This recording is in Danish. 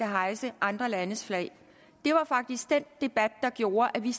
hejse andre landes flag det var faktisk den debat der gjorde at vi